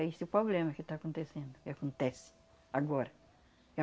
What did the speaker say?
É esse o problema que está acontecendo, que acontece agora.